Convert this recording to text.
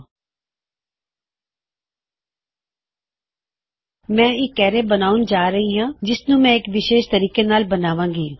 ਹੁਣ ਮੈਂ ਇੱਕ ਅਰੈ ਬਣਾਉਣ ਜਾ ਰਿਹਾ ਹਾਂ ਜਿਸ ਨੂੰ ਹੁਣ ਮੈਂ ਵਿਸ਼ੇਸ਼ ਤੋਰ ਤੇ ਬਣਾਉਗਾ